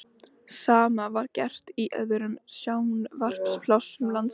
Sama var gert í öðrum sjávarplássum landsins.